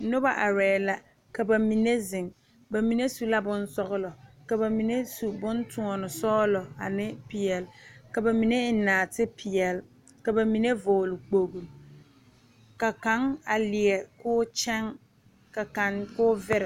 Nobo are la ka bamine zeŋ bamine su la sɔglɔ ka bamine su bontoɔne sɔglɔ ane peɛle ka bamine eŋ naate peɛle ka bamine vɔgle kpoŋlo ka kaŋ a leɛ koo kyɛŋ ka kaŋ koo vire.